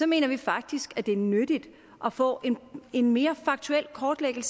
mener vi faktisk at det er nyttigt at få en mere faktuel kortlægning